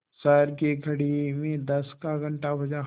शहर की घड़ी में दस का घण्टा बजा